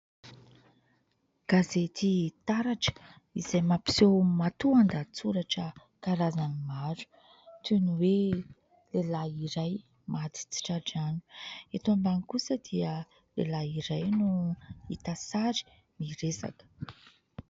Gazety taratra izay mampiseho matoan-dahatsoratra karazany maro toy ny hoe lehilahy iray maty tsy tra-drano. Eto ambany kosa dia lehilahy iray no hita sary miresaka.